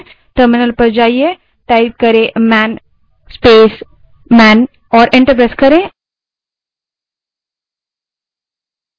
terminal पर जाएँ और man space man type करें और enter दबायें